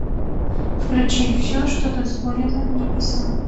включи все что дозволено небесам